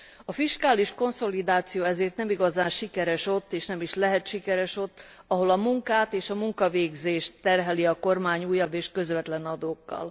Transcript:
A fiskális konszolidáció ezért nem igazán sikeres, és nem is lehet sikeres ott, ahol a munkát és a munkavégzést terheli a kormány újabb és közvetlen adókkal.